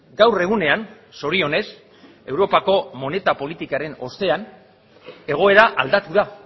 gaur egunean zorionez europako moneta politikaren ostean egoera aldatu da